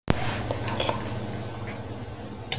Hugrún Halldórsdóttir: Svona jólamyndir?